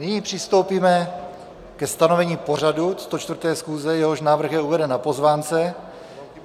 Nyní přistoupíme ke stanovení pořadu 104. schůze, jehož návrh je uveden na pozvánce.